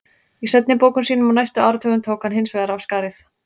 Í seinni bókum sínum á næstu áratugum tók hann hins vegar af skarið.